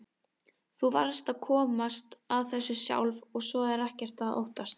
Þú varðst að komast að þessu sjálf og svo er ekkert að óttast.